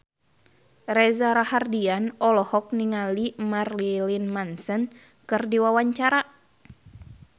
Reza Rahardian olohok ningali Marilyn Manson keur diwawancara